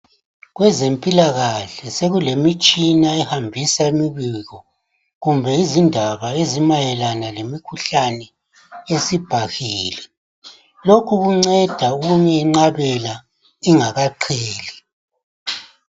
Kwezempilakahle sekulemitshina ehambisa imbiko kumbe izindaba ezimayelana lemikhuhlani esibhahile loku kunceda ukuyenqabela ingakaqheli.